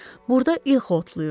Burda ilx otlayırdı.